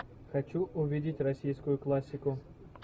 хочу увидеть российскую классику